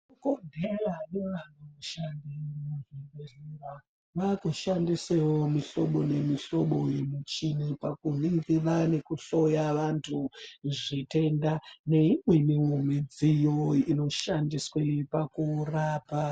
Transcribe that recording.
Muzvibhehleya nevanoshande muzvibhehlera vaakushandisewo mihlobo nemihlobo yemichini paku ningira nekuhloya vantu zvitenda neimweniwo midziyo inoshandiswe pakurapa.